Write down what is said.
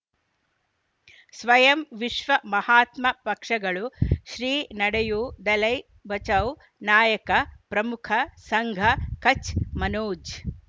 ಸ್ವಯಂ ವಿಶ್ವ ಮಹಾತ್ಮ ಪಕ್ಷಗಳು ಶ್ರೀ ನಡೆಯೂ ದಲೈ ಬಚೌ ನಾಯಕ ಪ್ರಮುಖ ಸಂಘ ಕಚ್ ಮನೋಜ್